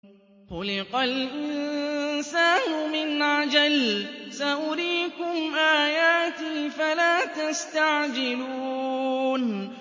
خُلِقَ الْإِنسَانُ مِنْ عَجَلٍ ۚ سَأُرِيكُمْ آيَاتِي فَلَا تَسْتَعْجِلُونِ